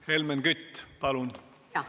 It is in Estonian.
Helmen Kütt, palun!